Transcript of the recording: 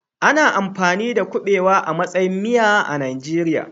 Ana amfani da kuɓewa a matsayin miya a Najeriya.